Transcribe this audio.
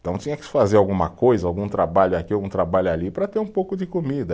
Então tinha que fazer alguma coisa, algum trabalho aqui, algum trabalho ali, para ter um pouco de comida.